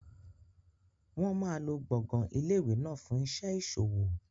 Wọn máa lo gbọ̀ngàn ilé ìwé náà fún iṣẹ́ ìṣòwò.